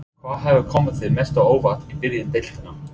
Hvað hefur komið þér mest á óvart í byrjun deildarinnar?